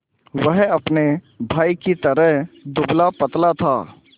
वह अपने भाई ही की तरह दुबलापतला था